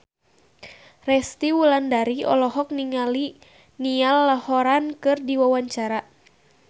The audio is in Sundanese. Resty Wulandari olohok ningali Niall Horran keur diwawancara